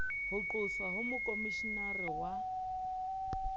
ho qoswa ha mokhomishenara wa